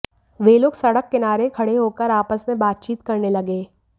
वे लोग सड़क किनारे खड़े होकर आपस में बातचीत करने लगे